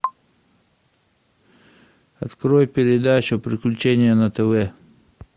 открой передачу приключения на тв